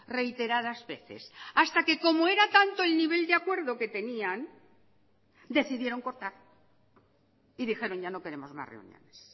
reiteradas veces hasta que como era tanto el nivel de acuerdo que tenían decidieron cortar y dijeron ya no queremos más reuniones